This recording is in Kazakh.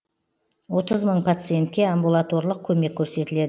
отыз мың пациентке амбулаторлық көмек көрсетіледі